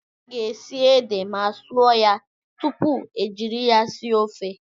A ga-esi ede ma sụọ ya tupu ejiri ya sie ofe.